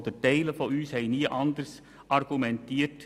Die meisten von uns haben nie anders argumentiert.